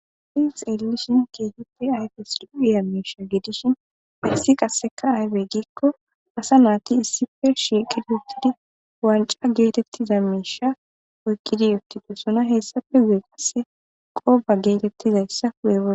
fiq elishin keehippe ayfes duiya miisha gidishin issi qasseka aybey giikko asa naati issife shiikidi uttidi wanca geetettiza miisha oykkidi uttidesona hessafe zu7e qasse qooba geetettizayssa weo